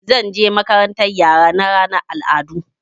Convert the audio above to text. Zan je makarantar yara na ranar al'adu.